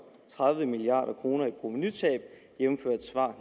tredive milliard kroner i provenutab jævnfør et svar